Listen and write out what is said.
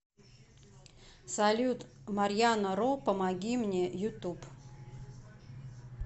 салют марьяна ро помоги мне ютуб